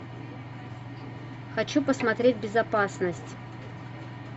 хочу посмотреть безопасность